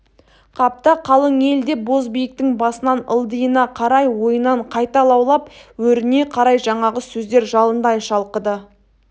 қапта қалың ел деп бозбиіктің басынан ылдиына қарай ойынан қайта лаулап өріне қарай жаңағы сөздер жалындай шалқыды